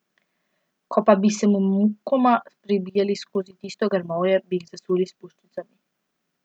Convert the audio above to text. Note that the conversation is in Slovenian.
Ko pa bi se mukoma prebijali skozi tisto grmovje, bi jih zasul s puščicami.